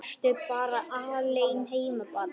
Ertu bara alein heima barn?